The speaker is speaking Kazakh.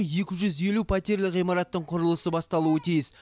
екі жүз елу пәтерлі ғимараттың құрылысы басталуы тиіс